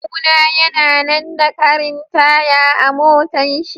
Kawuna ya na na da karin taya a motan shi.